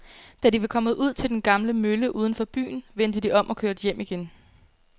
Da de var kommet ud til den gamle mølle uden for byen, vendte de om og kørte hjem igen.